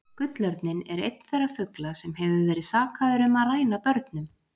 Gullörninn er einn þeirra fugla sem hefur verið sakaður um að ræna börnum.